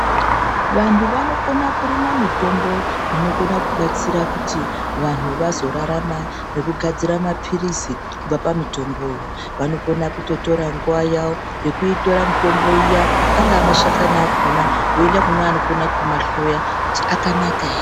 Vantu vanokona kurima mitombo inokona kubatsira kuti vanhu vazorarama nekugadzira maphirisi kubva pamitomboyo. Vanokona kutotora nguva yavo yokuitora mitombo iya angamashakana akhona yokwenda kunakumahloya akanaka.